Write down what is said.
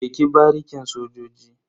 Je ki barikin sojoji.